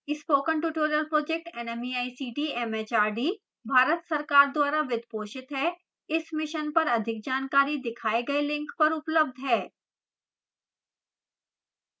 spoken tutorial project nmeict mhrd Bharat सरकार द्वारा वित्त पोषित है इस मिशन पर अधिक जानकारी दिखाए गए लिंक पर उपलब्ध है